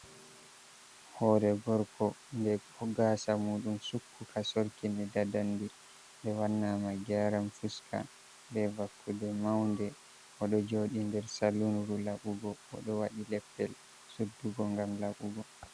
Hore gorko nde ho gasa muɗum sukkuka sorki ni dadandi, nde wanna ma gyaran fuska be vakkude maunde, o ɗo joɗi nder salun labugo, o ɗo waɗi leppol suddugo ngam labu go.